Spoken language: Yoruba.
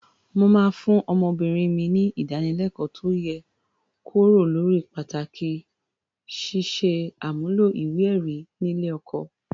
Mo máa fún ọmọbìnrin mi ní ìdánilẹ́kọ̀ọ́ tó yè kooro lórí pàtàkì ṣíṣe àmúlò ìwé-ẹ̀rí nílé ọkọ.